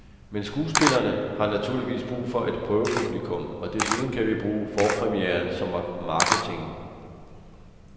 Men skuespillerne har naturligvis brug for et prøvepublikum, og desuden kan vi bruge forpremieren som marketing.